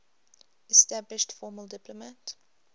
established formal diplomatic